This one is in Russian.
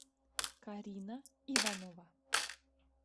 карина иванова